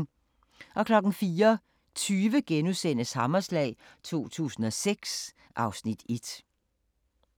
04:20: Hammerslag 2006 (Afs. 1)*